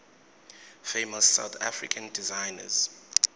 famous south african designers